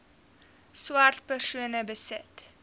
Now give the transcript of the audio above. swart persone besit